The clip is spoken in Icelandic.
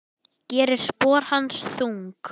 Gerir spor hans þung.